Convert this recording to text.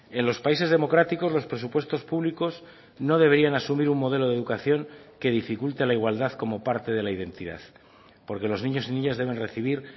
en los países democráticos los presupuestos públicos no deberían asumir un modelo de educación que dificulte la igualdad como parte de la identidad porque los niños y niñas deben recibir